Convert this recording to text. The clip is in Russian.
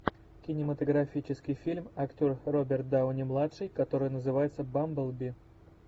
кинематографический фильм актер роберт дауни младший который называется бамблби